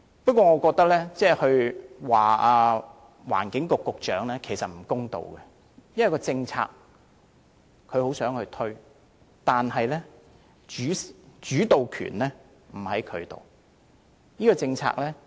不過，我認為就此批評環境局局長，其實也有欠公道，因為他也想推廣電動車政策，但主導權不在他手上。